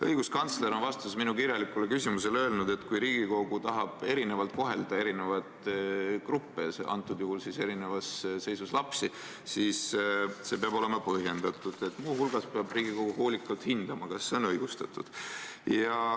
Õiguskantsler on oma vastuses minu kirjalikule küsimusele öelnud, et kui Riigikogu tahab erinevalt kohelda erinevaid gruppe, antud juhul erinevas seisus lapsi, siis see peab olema põhjendatud, muu hulgas peab Riigikogu hoolikalt hindama, kas see on õigustatud.